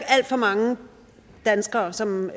alt for mange danskere som